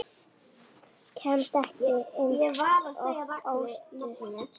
Kemst ekki ein og óstudd!